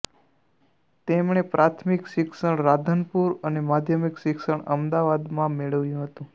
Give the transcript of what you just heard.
તેમણે પ્રાથમિક શિક્ષણ રાધનપુર અને માધ્યમિક શિક્ષણ અમદાવાદમાં મેળવ્યું હતું